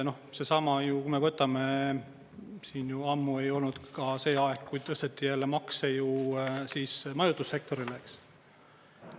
Seesama, kui me võtame, siin juba ammu ei olnud ka see aeg, kui tõsteti jälle makse ju siis majutussektoril, eks.